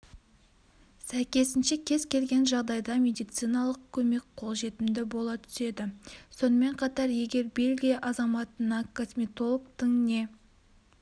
сәйкесінше кез келген жағдайда медициналық көмек қолжетімді бола түседі сонымен қатар егер бельгия азаматына косметологтың не